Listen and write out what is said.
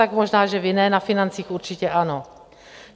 Tak možná že vy ne, na financích určitě ano.